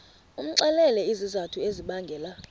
umxelele izizathu ezibangela